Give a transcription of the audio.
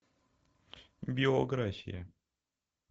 биография